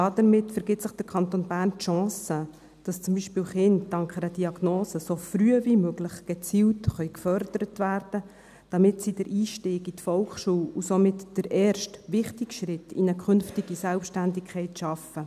Damit vergibt sich der Kanton Bern die Chance, dass zum Beispiel Kinder dank einer Diagnose so früh wie möglich gezielt gefördert werden können, damit sie den Einstieg in die Volksschule und somit den ersten wichtigen Schritt in eine künftige Selbstständigkeit schaffen.